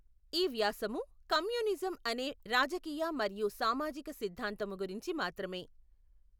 ఈ వ్యాసము కమ్యూనిజం అనే రాజకీయ మరియు సామాజిక సిద్ధాంతము గురించి మాత్రమే.